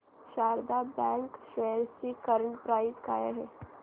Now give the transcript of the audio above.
Sharda bank shares ची current price काय आहे